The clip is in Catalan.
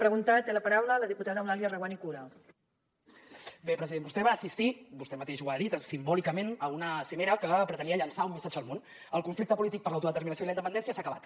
bé president vostè va assistir vostè mateix ho ha dit simbòlicament a una cimera que pretenia llançar un missatge al món el conflicte polític per l’autodeterminació i la independència s’ha acabat